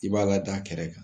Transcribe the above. I b'a lada kɛrɛ kan.